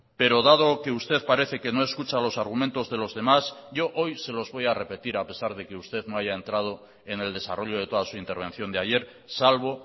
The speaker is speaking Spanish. pero dado que usted parece que no escucha los argumentos de los demás yo hoy se los voy a repetir a pesar de que usted no haya entrado en el desarrollo de toda su intervención de ayer salvo